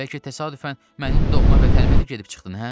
Bəlkə təsadüfən mənim doğma vətənimə də gedib çıxdın, hə?